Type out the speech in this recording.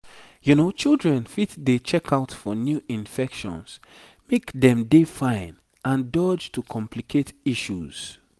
children fit dey check out for new infections make dem dey fine and dodge to complicate issues